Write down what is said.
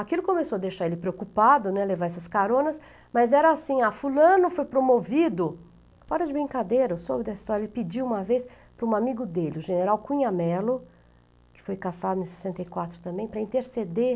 Aquilo começou a deixar ele preocupado né, levar essas caronas, mas era assim, ah, fulano foi promovido, fora de brincadeira, eu soube dessa história, ele pediu uma vez para um amigo dele, o general Cunha Mello, que foi caçado em sessenta e quatro também, para interceder